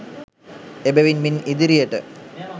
එබැවින් මින් ඉදිරියට